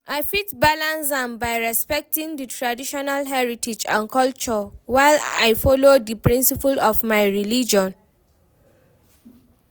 I fit balance am by respecting di traditional heritage and culture, while i follow di principle of my religion.